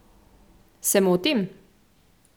Se motim?